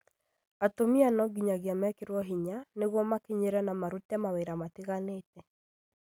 Atumia nĩ nginyagia mekĩrwo hinya nĩguo makinyĩre na marute mawĩra matiganĩte